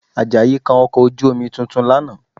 Àjàyí kan ọkọ̀ ojú-omi tuntun lánàá